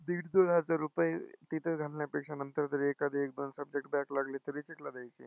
दीड-दोन हजार रुपये तिथं घालण्यापेक्षा नंतर जर एखादं subject back लागले तर recheck ला द्यायचे.